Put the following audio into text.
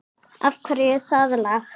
Af hverju það lag?